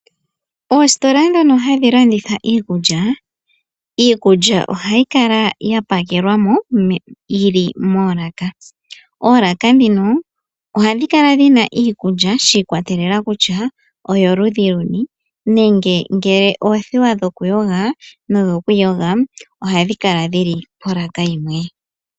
Ositola ndhono hadhi landitha iikulya, iikulya ohayi kala ya pakelwa mo yili molaaka. Olaaka ndhino oha dhikala dhina iikulya shikwatelela kutya oyo ludhi luni nenge ngele oothewa dho kuyoga nodho kwiiyoga oha dhikala dhili po laka yimwe.